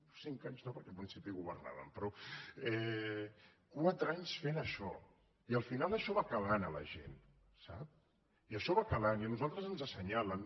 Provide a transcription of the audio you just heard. cinc anys no perquè al principi governaven quatre anys que fan això i al final això va calant a la gent sap i això va calant i a nosaltres ens assenyalen